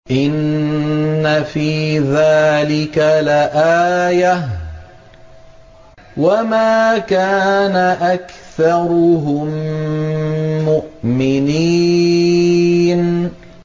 إِنَّ فِي ذَٰلِكَ لَآيَةً ۖ وَمَا كَانَ أَكْثَرُهُم مُّؤْمِنِينَ